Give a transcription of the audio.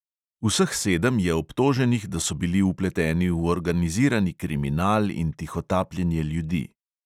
Vseh sedem je obtoženih, da so bili vpleteni v organizirani kriminal in tihotapljenje ljudi.